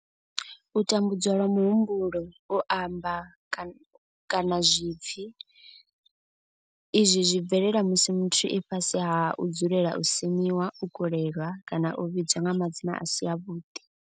U tambudzwa lwa muhumbulo, u amba, kana zwipfi, izwi zwi bvelela musi muthu e fhasi ha u dzulela u semiwa, u kolelwa kana u vhidzwa nga madzina a si avhuḓi.